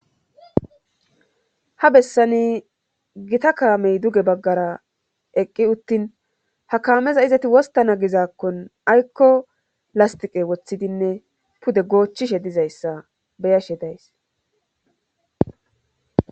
ha bessani gita kaamey duge baggara eqqi uttin ha kaameza izati wostana gizakkon aykko lastiqe woththidinne pude goochchishe dizayssa beyashe days